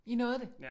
I nåede det